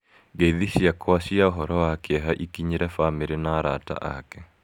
Ngeithi ciakwa cia ũhoro wa kĩeha ikinyĩrĩ famĩrĩ na arata aake.